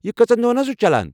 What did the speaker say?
یہِ کٔژَن دۄہَن چھُ چلان؟